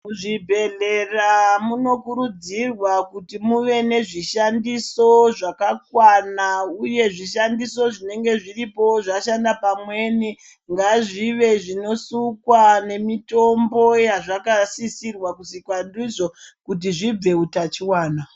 Muzvibhedhlera munokurudzirwa kuti muve nezvishandiso zvakakwana uye zvishandiso zvinenge zviripo zvashanda pamweni ngazvive zvinosukwa nemitombo yazvakasisirwa kusukwa ndizvo kuti zvibve utachiona.